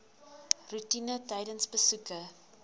roetine tydens besoeke